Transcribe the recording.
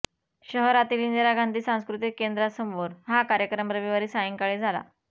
शहरातील इंदिरा गांधी सांस्कृतिक केंद्रासमोर हा कार्यक्रम रविवारी सायंकाळी झाला